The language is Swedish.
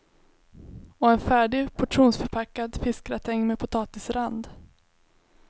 Och en färdig, portionsförpackad fiskgratäng med potatisrand.